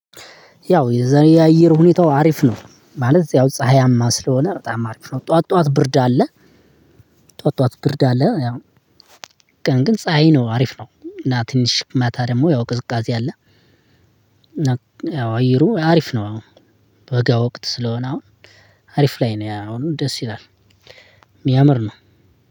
ያው የዛኔ የአየር ሁኔታው አሪፍ ነው ማለት ያው ፀሀያማ ስለሆነ በጣም አሪፍ ነው ጠዋት ጠዋት ብርድ አለ። ጠዋት ጠዋት ብርድ አለ ያው። ቀን ግን ፀሀይ ነው አሪፍ ነው እና ትንሽ ማታ ደሞ ያው ቅዝቃዜ አለ። ያው አየሩ አሪፍ ነው አሁን። በጋ ወቅት ስለሆነ አሁን አሪፍ ላይ ነው ያሁኑ ደስ ይላል። ሚያምር ነው።